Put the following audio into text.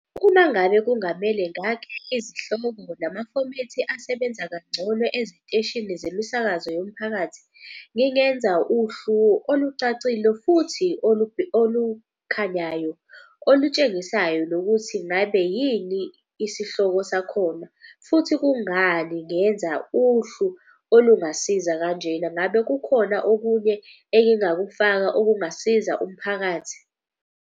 Uma ngabe kungamele ngakhe izihloko namafomethi asebenza kangcono eziteshini zemisakazo yomphakathi. Ngingenza uhlu olucacile futhi olukhanyayo olutshengisayo nokuthi ngabe yini isihloko sakhona. Futhi kungani ngenza uhlu olungasiza kanjena. Ngabe kukhona okunye engingakufaka okungasiza umphakathi.